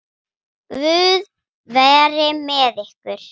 Guð veri með ykkur.